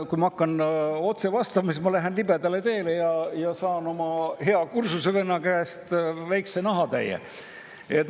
Kui ma hakkaksin otse vastama, siis ma läheksin libedale teele ja saaksin oma hea kursusevenna käest väikese nahatäie.